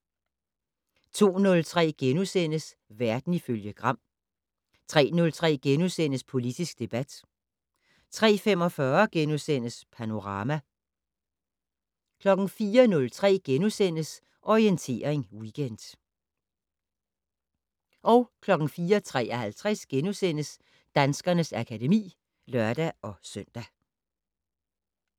02:03: Verden ifølge Gram * 03:03: Politisk debat * 03:45: Panorama * 04:03: Orientering Weekend * 04:53: Danskernes akademi *(lør-søn)